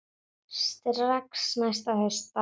Strax næsta haust bara.